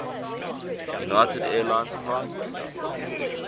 united airlines flight